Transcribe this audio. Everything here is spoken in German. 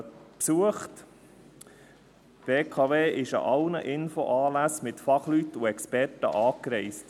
die BKW reiste an allen Infoanlässen mit Fachleuten und Experten an.